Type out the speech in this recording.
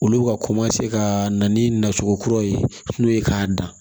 Olu bɛ ka ka na ni nacogo kuraw ye n'o ye k'a dan